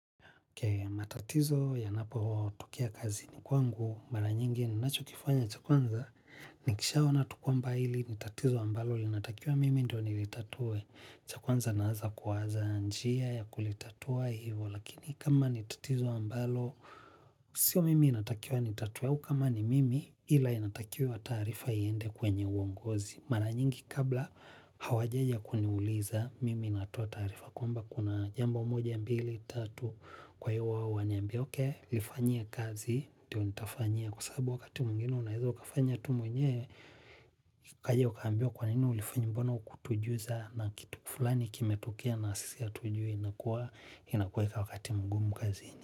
Matatizo yanapotokea kazini kwangu, mara nyingi ninacho kifanya cha kwanza, nikisha ona tu kwamba hili, ni tatizo ambalo, linatakiwa mimi ndio nilitatue. Cha kwanza naanza kuwaza njia ya kulitatua hivo, lakini kama ni tatizo ambalo, sio mimi inatakiwa nitatue, au kama ni mimi ila inatakiwa taarifa iende kwenye uongozi. Mara nyingi kabla hawajaja kuniuliza mimi natoa taarifa kwamba kuna jambo moja mbili, tatu kwa hiyo wao waniambie okay. Lifanyie kazi, ndio nitafanyia kwa sababu sabu wakati mwingine unaeza ukafanya tu mwenyewe ukaja ukaambiwa kwa nini ulifanya mbona hukutujuza. Na kitu fulani kimetokea na sisi hatujui inakuwa inakueka wakati mgumu kaziini.